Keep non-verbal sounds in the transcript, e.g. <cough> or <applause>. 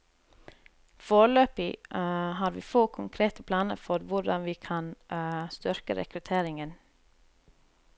Foreløpig <hesitation> har vi få konkrete planer for hvordan vi kan <hesitation> styrke rekrutteringen.